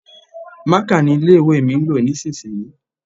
Maka ni ilé-ìwé mi ń lò nísinsìnyí.